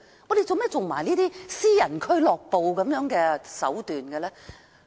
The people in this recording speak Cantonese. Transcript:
港鐵公司為何要耍私人俱樂部的手段？